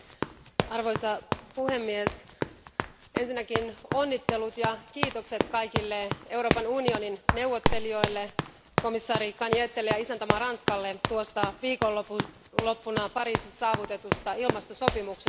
Arvoisa puhemies, ensinnäkin onnittelut ja kiitokset kaikille Euroopan unionin neuvottelijoille, komissaari Cañetelle ja isäntämaa Ranskalle tuosta viikonloppuna Pariisissa saavutetusta ilmastosopimuksesta.